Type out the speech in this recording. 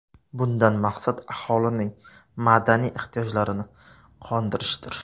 Bundan maqsad aholining madaniy ehtiyojlarini qondirishdir.